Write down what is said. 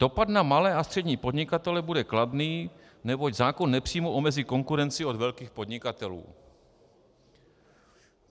Dopad na malé a střední podnikatele bude kladný, neboť zákon nepřímo omezí konkurenci od velkých podnikatelů.